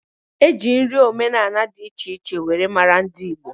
Eji nri omenani di iche iche were mara ndi Igbo.